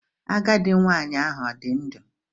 Agadị nwanyị ahụ ọ dị ndụ?